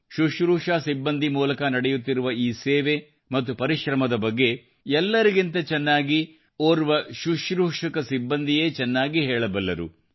ಶುಶ್ರೂಷಾ ಸಿಬ್ಬಂದಿ ಮೂಲಕ ನಡೆಯುತ್ತಿರುವ ಈ ಸೇವೆ ಮತ್ತು ಪರಿಶ್ರಮದ ಬಗ್ಗೆ ಎಲ್ಲರಿಗಿಂತ ಚೆನ್ನಾಗಿ ಓರ್ವ ಸಿಬ್ಬಂದಿಯೇ ಚೆನ್ನಾಗಿ ಹೇಳಬಲ್ಲರು